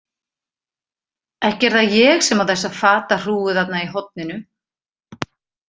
Ekki er það ég sem á þessa fatahrúgu þarna í horninu.